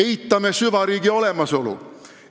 Eitame süvariigi olemasolu.